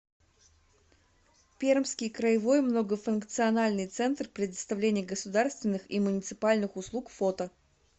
пермский краевой многофункциональный центр предоставления государственных и муниципальных услуг фото